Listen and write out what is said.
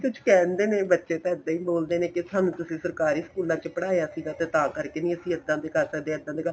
ਕੁੱਝ ਕਹਿੰਦੇ ਨੇ ਬੱਚੇ ਤਾਂ ਇੱਦਾਂ ਈ ਬੋਲਦੇ ਨੇ ਕੇ ਸਾਨੂੰ ਤਸੀਂ ਸਰਕਾਰੀ ਸਕੂਲਾ ਚ ਪੜ੍ਹਾਇਆ ਸੀਗਾ ਤੇ ਤਾਂ ਕਰਕੇ ਨੀਂ ਅਸੀਂ ਇੱਦਾਂ ਦੇ ਕਰ ਸਕਦੇ ਇੱਦਾਂ ਦੇ